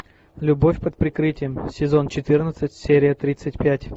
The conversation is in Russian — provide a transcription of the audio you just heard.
любовь под прикрытием сезон четырнадцать серия тридцать пять